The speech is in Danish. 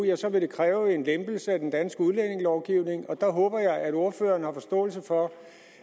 ja så vil det kræve en lempelse af den danske udlændingelovgivning og der håber jeg at ordføreren har forståelse for